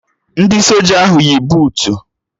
Ndị soja ahụ yi buutu